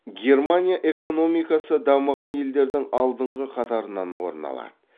германия экономикасы дамыған елдердің алдыңғы қатарынан орын алады